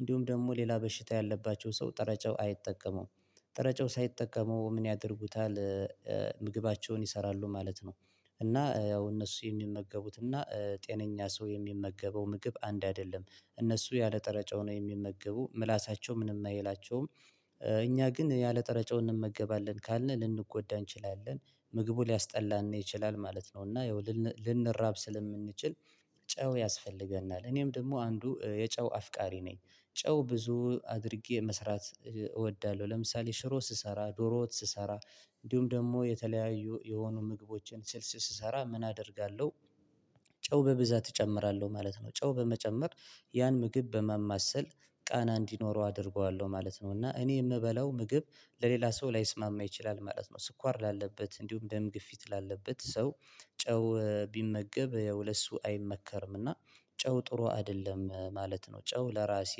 እንዲሁም ደግሞ ሌላ በሽታ ያለባቸው ሰው ጥሬ ጨው አይጠቀሙም። ጥሬ ጨው ሳይጠቀሙ ምን ያደርጉታል? ምግባቸውን ይሰራሉ ማለት ነው። እና ያው እነሱ የሚመገቡት እና ጤነኛ ሰው የሚመገበው ምግብ አንድ አይደለም። እነሱ ያለ ጥሬ ጨው ነው የሚመገቡ ምላሳቸው ምንም አይላቸውም። እኛ ግን ያለ ጥሬ ጨው እንመገባለን ካልን ልንጎዳ እንችላለን። ምግቡ ሊያስጠላን ይችላል ማለት ነው። እና ይኸው ልንራብ ስለምንችል ጨው ያስፈልገናል። እኔም ደግሞ አንዱ የጨው አፍቃሪ ነኝ። ጨው ብዙ አድርጌ መስራት እወዳለሁ። ለምሳሌ ሽሮ ስሰራ ዶሮ ወጥ ስሰራ እንዲሁም ደግሞ የተለያዩ የሆኑ ምግቦችን ስልስ ስሰራ ምን አደርጋለሁ? ጨው በብዛት እጨምራለሁ ማለት ነው ጨው በመጨመር ያን ምግብ በማማሰል ቃና እንዲኖረው አደርገዋለሁ ማለት ነው። እና እኔ የምበላው ምግብ ለሌላ ሰው ላይስማማ ይችላል ማለት ነው። ስኳር ላለበት እንዲሁም ደም ግፊት ላለበት ሰው ጨው ቢመገብ ለእሱ አይመከርም እና። ጨው ጥሩ አይደለም ማለት ነው። ጨው ለራሴ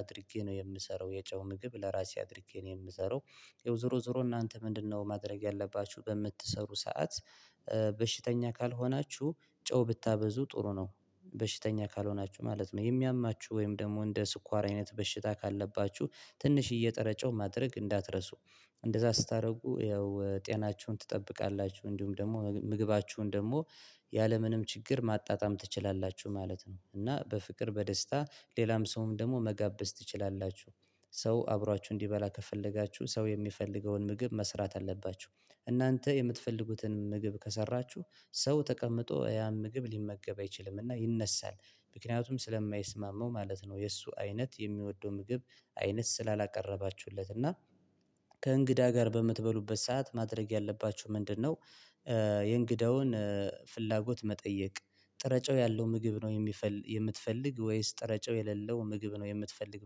አድርጌ ነው የምሰራው የጨው ምግብ ለራሴ አድርጌ ነው የምሰራው። ያው ዝሮ ዝሮ እናንተ ምንድነው ማድረግ ያለባችሁ በምትሰሩ ሰዓት? በሽተኛ ካልሆናችሁ ጨው ብታበዙ ጥሩ ነው። በሽተኛ ካልሆናችሁ ማለት ነው የሚያማችሁ ወይም ደግሞ እንደ ስኳር አይነት በሽታ ካለባችሁ ትንሽ የጥሬ ጨው ማድረግ እንዳትረሱ። እንደዛ ስታደርጉ ይኸው ጤናችሁን ትጠብቃላችሁ እንዲሁም ደግሞ ምግባችሁን ደግሞ ያለምንም ችግር ማጣጣም ትችላላችሁ ማለት ነው። እና በፍቅር በደስታ ሌላም ሰውም ደግሞ መጋበዝ ትችላላችሁ። ሰው አብሯችሁ እንዲበላ ከፈለጋችሁ ሰው የሚፈልገውን ምግብ መስራት አለባችሁ። እናንተ የምትፈልጉትን ምግብ ከሰራችሁ ሰው ተቀምጦ ያን ምግብ ሊመገብ አይችልም እና ይነሳል። ምክንያቱም ስለማይስማመው ማለት ነው የእሱ አይነት የሚወደው ምግብ አይነት ስላላቀረባችሁለት እና። ከእንግዳ ጋር በምትበሉበት ሰዓት ማድረግ ያለባችሁ ምንድነው? የእንግዳውን ፍላጎት መጠየቅ ጥሬ ጨው ያለው ምግብ ነው የሚፈል የምትፈልግ ወይስ ጥሬ ጨው የሌለው ምግብ ነው የምትፈልግ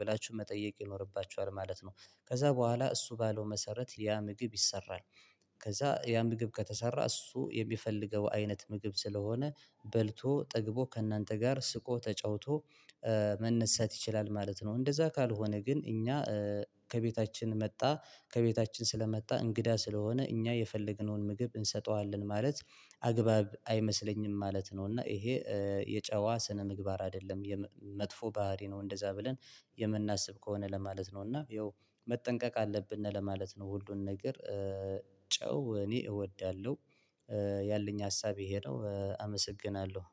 ብላችሁ መጠየቅ ይኖርባችኋል ማለት ነው። ከዛ በኋላ እሱ ባለው መሰረት ያ ምግብ ይሰራል። ከዛ ያ ምግብ ከተሰራ እሱ የሚፈልገው አይነት ምግብ ስለሆነ በልቶ ጠግቦ ከእናንተ ጋር ስቆ ተጫውቶ መነሳት ይችላል ማለት ነው። እንደዛ ካልሆነ ግን እኛ ከቤታችን መጣ ከቤታችን ስለመጣ እንግዳ ስለሆነ እኛ የፈለግነውን ምግብ እንሰጠዋለን ማለት አግባብ አይመስለኝም ማለት ነው። እና ይሄ የጨዋ ስነ-ምግባር አይደለም የመጥፎ ባህሪ ነው። እንደዛ ብለን የምናስብ ከሆነ ለማለት ነው እና ያው መጠንቀቅ አለብን ለማለት ነው። ሁሉን ነገር ጨው እኔ እወዳለሁ። ያለኝ ሀሳብ ይሄ ነው አመሰግናለሁ።